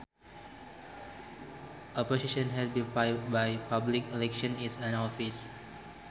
A position held by public election is an office